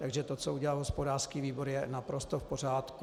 Takže to, co udělal hospodářský výbor, je naprosto v pořádku.